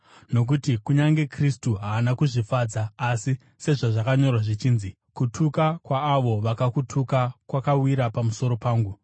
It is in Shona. Nokuti kunyange Kristu haana kuzvifadza asi, sezvazvakanyorwa zvichinzi, “Kutuka kwaavo vakakutuka kwakawira pamusoro pangu.”